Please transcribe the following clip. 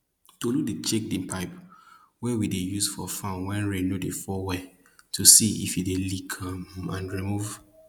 tolu dey check di pipe wey we dey use for farm wen rain no dey fall well to see if e dey leak um and remove